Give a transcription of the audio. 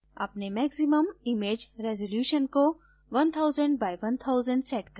अपने maximum image resolution को 1000 x 1000 setup करें